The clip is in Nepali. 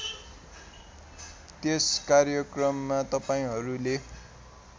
त्यस कार्यक्रममा तपाईँलहरूले